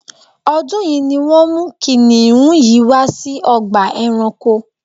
ọ́dún yìí ni wọ́n mú kìnnìún yìí wá sí ọgbà ẹranko